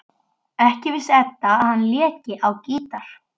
Ekki vissi Edda að hann léki á gítar.